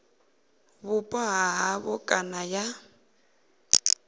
vhupo ha havho kana ya